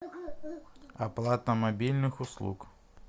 оплата мобильных услуг